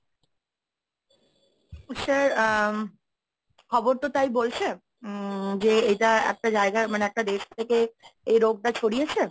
sir আহ খবর তো তাই বলছে উম যে এটা একটা জায়গা মানে একটা দেশ থেকে এই রোগটা ছড়িয়েছে,